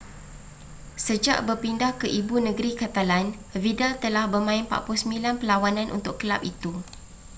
sejak berpindah ke ibu negeri catalan vidal telah bermain 49 perlawanan untuk kelab itu